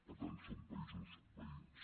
per tant són països veïns